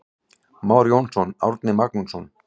Már Jónsson, Árni Magnússon.